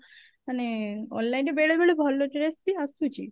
ମାନେ online ରେ ବେଳେ ବେଳେ ଭଲ dress ବି ଆସୁଛି